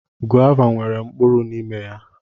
Gọva nwere mkpụrụ n'ime ya.